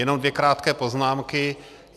Jenom dvě krátké poznámky.